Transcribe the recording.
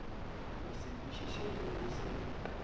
go se kwišišege go se